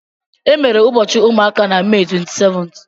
Emere ụbọchị ụmụaka na Mee 27th.